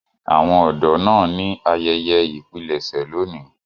Àwọn ọdọ naa ni ayẹyẹ ipilẹṣẹ loni.